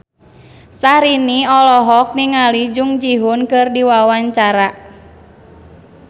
Syahrini olohok ningali Jung Ji Hoon keur diwawancara